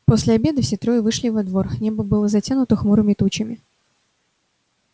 после обеда все трое вышли во двор небо было затянуто хмурыми тучами